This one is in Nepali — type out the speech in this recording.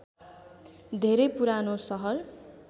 धेरै पुरानो शहर